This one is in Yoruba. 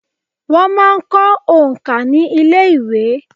Wọ́n máa ń kọ́ òǹkà ní ilé ìwé.